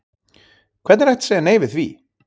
Hvernig er hægt að segja nei við því?